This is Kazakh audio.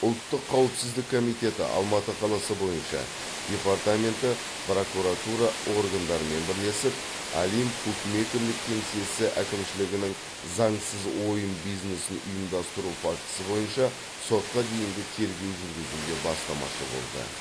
ұлттық қауіпсіздік комитеті алматы қаласы бойынша департаменті прокуратура органдарымен бірлесіп олимп букмекерлік кеңсесі әкімшілігінің заңсыз ойын бизнесін ұйымдастыру фактісі бойынша сотқа дейінгі тергеу жүргізуге бастамашы болды